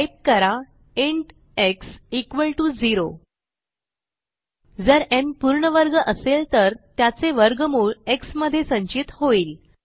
type करा int x 0 जर न् पूर्ण वर्ग असेल तर त्याचे वर्गमूळ एक्स मध्ये संचित होईल